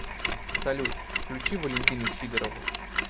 салют включи валентину сидорову